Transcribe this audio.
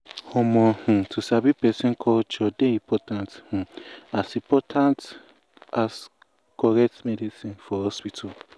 um um to sabi um person culture dey um important um as important um as correct medicine for hospital.